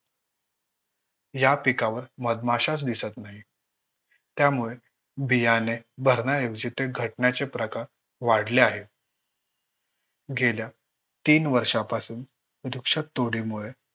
या पिकावर मधमाशाचं दिसत नाही. त्यामुळे बियाणे भारण्याऐवजी ते घटण्याचे प्रकार वाढले आहेत. गेल्या तीन वर्षांपासून मुळे